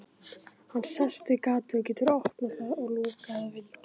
Hann sest við gatið og getur opnað það og lokað að vild.